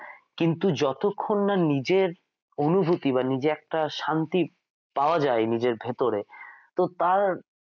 কিন্তু যতক্ষননা নিজের অনুভুতি বা নিজের একটা শান্তি পাওয়া যায় নিজের ভেতোরে তো তার,